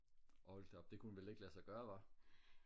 hold da op det kunne vel ikke lade sig gøre hva